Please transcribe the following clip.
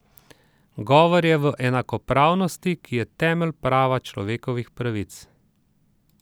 Govor je o enakopravnosti, ki je temelj prava človekovih pravic.